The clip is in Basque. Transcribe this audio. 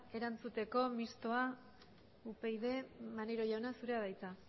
erantzuteko mistoa upyd maneiro jauna zurea da hitza